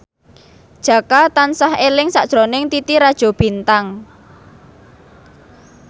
Jaka tansah eling sakjroning Titi Rajo Bintang